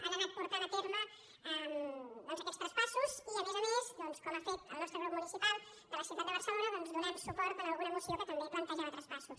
ha anat portant a terme aquests traspas·sos i a més a més com ha fet el nostre grup municipal de la ciutat de barcelona donant suport a alguna mo·ció que també plantejava traspassos